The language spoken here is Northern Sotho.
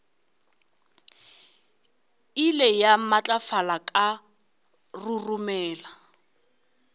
ile ya matlafala ka roromela